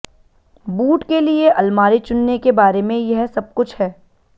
boot के लिए अलमारी चुनने के बारे में यह सब कुछ है